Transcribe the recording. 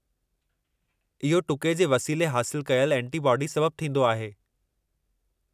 इहो टुके जे वसीले हासिलु कयलु एंटीबॉडी सबबु थींदो आहे।